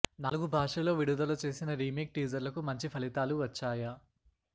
నాలుగు భాషల్లో విడుదల చేసిన రీమేక్ టీజర్లకు మంచి ఫలితాలు వచ్చాయ